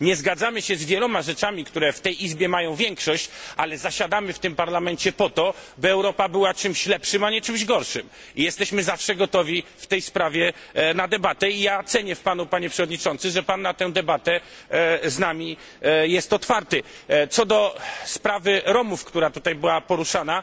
Nie zgadzamy się z wieloma kwestiami, które w tej izbie mają większość, ale zasiadamy w tym parlamencie po to, by Europa była czymś lepszym, a nie czymś gorszym i jesteśmy zawsze gotowi na debatę w tej sprawie. Cenię w panu, panie przewodniczący, że pan na tę debatę z nami jest otwarty. Co do sprawy Romów, która tutaj była poruszana